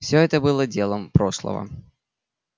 всё это было делом прошлого